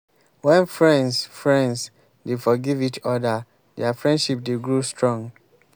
wen friends friends dey forgive each oda dia friendship dey grow strong.